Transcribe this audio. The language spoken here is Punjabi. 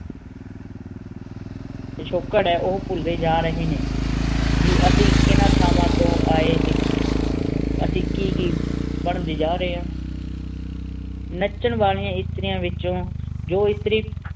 ਪੁਸ਼ੁਕੇਰ ਹੈਂ ਓਪੁਲ ਡੀ ਜਾ ਰਹੀ ਨੀ ਬੇ ਅਸੀਂ ਕੀਨਾ ਥਾਵਾਂ ਤੂੰ ਆਯ ਸੀ ਇਸੀ ਕੀ ਕੀ ਬਣ ਡੀ ਜਾ ਰਹੀ ਆਂ ਨਾਚੇਨ ਵਾਲੀ ਏਸ੍ਤਾਰਨਾ ਵਿਛੁੰ ਜੋ ਇਸਤਰੀ